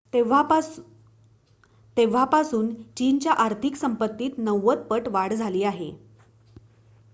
तेव्हापासून चीनच्या आर्थिक संपत्तीत 90 पट वाढ झाली आहे